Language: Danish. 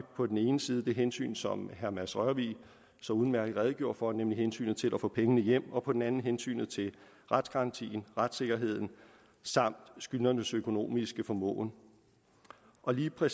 på den ene side det hensyn som herre mads rørvig så udmærket redegjorde for nemlig hensynet til at få pengene hjem og på den anden hensynet til retsgarantien retssikkerheden samt skyldnernes økonomiske formåen og lige præcis